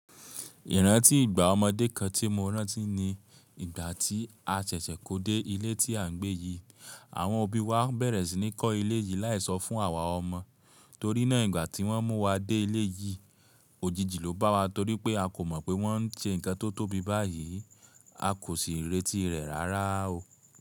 Ìrántí ìgbà ọmọdé kan tí mo rántí ni ìgbà tí a ṣẹ̀ṣẹ̀ kó dé ilé tí à ń gbé yìí. Àwọn òbí wa bẹ̀rẹ̀ sí ní kọ́ ilé yìí láì sọ fún àwa ọmọ. Torí náà ìgbà tí wọ́n mú wa dé ilé yìí, òjijì ló bá wa torí pé a kò mọ̀ pé wọ́n ń ṣe nǹkan tó tóbi báyìí, a kò sì retí rẹ̀ rárá o.